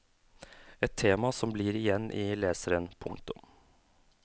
Et tema som blir igjen i leseren. punktum